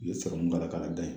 U ye sɔrɔmu don a la k'a la da yen